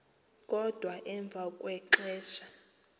kodwa emva kwexesha